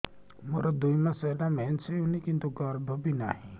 ମୋର ଦୁଇ ମାସ ହେଲା ମେନ୍ସ ହେଇନି କିନ୍ତୁ ଗର୍ଭ ବି ନାହିଁ